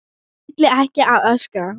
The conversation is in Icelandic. Ætla ekki að öskra.